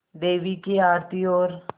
देवी की आरती और